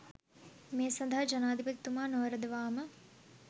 මේ සඳහා ජනාධිපතිතුමා නොවරදවා ම